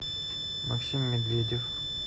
максим медведев